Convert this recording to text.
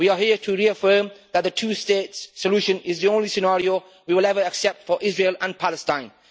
We are here to reaffirm that the two state solution is the only scenario we will ever accept for Israel and Palestine.